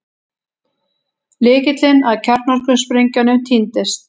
Lykillinn að kjarnorkusprengjunum týndist